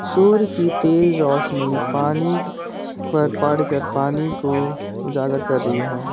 सूर्य की तेज रोशनी पानी पर पड़ कर पानी को उजागर कर रही है।